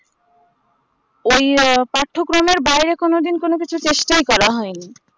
ওই এ পাঠক্রমের বাইরে কোনোদিন কোনোকিছু প্রশ্নই করা হয় নি